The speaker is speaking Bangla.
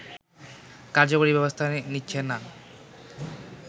কার্যকরী ব্যবস্থা নিচ্ছে না